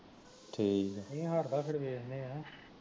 ਮੀਂਹ ਹਟਦਾ ਤੇ ਦੇਖਦੇ ਆ